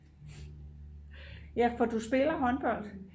ja for du spiller håndbold